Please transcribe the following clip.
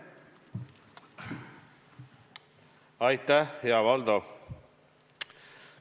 Aitäh, hea Valdo!